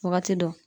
Wagati dɔ